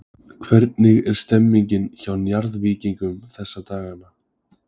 Hvernig er stemningin hjá Njarðvíkingum þessa dagana?